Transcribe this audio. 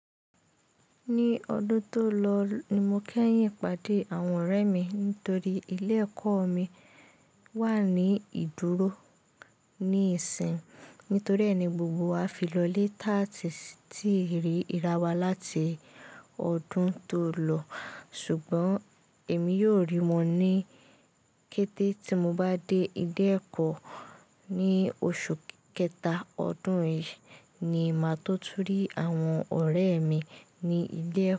Ní ọdún tó lọ ni mo kẹ́yìn pàdé àwọn ọ̀rẹ́ mi nítorí ilé-ẹ̀kọ́ mi wà ní ìdúró ní ìsìn. Nítorí ẹ́ ni gbogbo wa fi lọ lé taàti ti rí ìràwà láti ọdún tó lọ. Ṣùgbọ́n èmi yóò rí wọn ní kété tí mo bá dé ilé-ẹ̀kọ́ ní oṣù kẹta ọdún yìí ni màá tó túrí àwọn ọ̀rẹ́ mi ní ilé-ẹ̀kọ́.